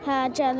Hə, gəlirəm.